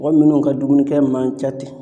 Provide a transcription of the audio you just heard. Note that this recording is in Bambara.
Mɔgɔ munnu ka dumunikɛ man ca ten